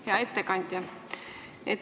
Hea ettekandja!